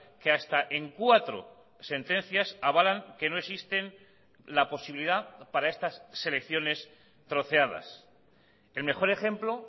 que hasta en cuatro sentencias avalan que no existen la posibilidad para estas selecciones troceadas el mejor ejemplo